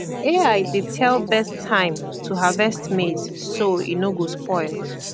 ai dey tell best time to harvest maize so e no go spoil